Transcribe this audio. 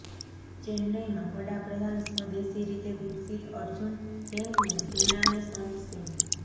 ચેન્નઇમાં વડાપ્રધાન સ્વદેશી રીતે વિકસિત અર્જુન ટેન્કને સેનાને સોંપશે